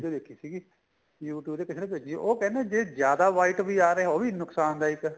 video ਦੇਖੀ ਸੀਗੀ YouTube ਤੇ ਕਿਸੇ ਨੇ ਭੇਜੀ ਉਹ ਕਹਿੰਦੇ ਜੇ ਜਿਆਦਾ white ਵੀ ਆ ਰਿਹਾ ਉਹ ਵੀ ਨੁਕਸਾਨ ਦਾਇਕ ਏ